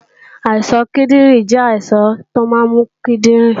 Àìsàn kíndìnrín jẹ́ àìsàn tó máa ń mú kíndìnrín